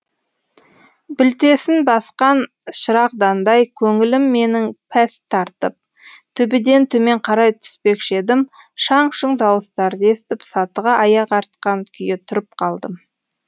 білтесін басқан шырағдандай көңілім менің пәс тартып төбеден төмен қарай түспекші едім шаң шұң дауыстарды естіп сатыға аяқ артқан күйі тұрып қалдым